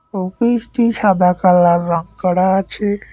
অফিসটি সাদা কালার রং করা আছে।